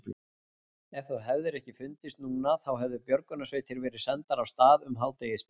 Ef þú hefðir ekki fundist núna þá hefðu björgunarsveitir verið sendar af stað um hádegisbilið.